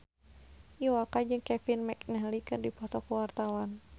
Iwa K jeung Kevin McNally keur dipoto ku wartawan